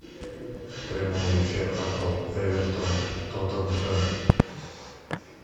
прямой эфир апл эвертон тоттенхэм